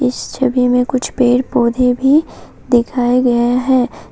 इस छवि में कुछ पेड़ पौधे भी दिखाया गया है।